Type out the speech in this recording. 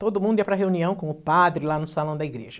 Todo mundo ia para reunião com o padre lá no salão da igreja.